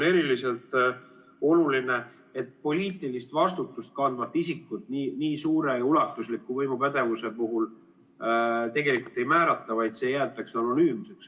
Eriliselt oluline on, et poliitilist vastutust kandvat isikut nii suure ja ulatusliku võimupädevuse puhul tegelikult ei määrata, vaid see jäetakse anonüümseks.